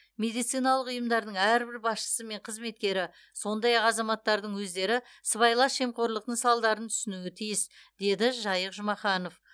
медициналық ұйымдардың әрбір басшысы мен қызметкері сондай ақ азаматтардың өздері сыбайлас жемқорлықтың салдарын түсінуі тиіс деді жайық жұмаханов